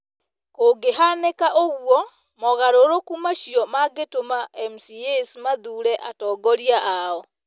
Kũngĩhanĩka ũguo, mogarũrũku macio mangĩtũma MCAs mathuure atongoria ao.